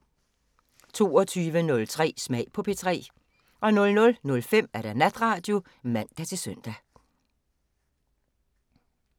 22:03: Smag på P3 00:05: Natradio (man-søn)